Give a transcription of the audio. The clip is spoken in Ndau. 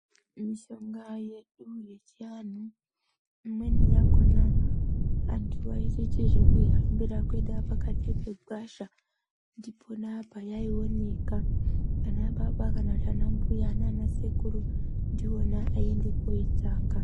Mishonga yedu yechianhu imweni yakhona vantu vaitoita zvekuihambira kuenda pakati pegwasha ndipona payaioneka. Ana baba kana kuti ana mbuya nana sekuru ndiwona aiende koitsvaka.